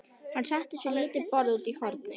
Hann settist við lítið borð úti í horni.